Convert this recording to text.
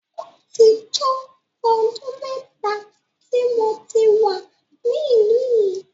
Ó ti tó ọdún mẹ́ta tí mo ti wà ní ìlú yìí.